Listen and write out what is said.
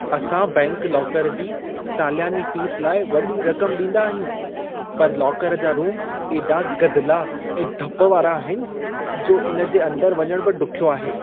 असां bank locker जी साल्यानी फीस लाइ वॾी रक़म ॾींदा आहियूं। पर लाकर जा रूम एॾा गदिला ऐं धप वारा आहिनि, जो इन जे अंदर वञण बि ॾुख्यो आहे।